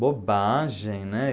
Bobagem, né?